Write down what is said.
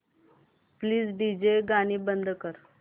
please DJ गाणी बंद कर